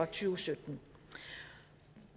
tusind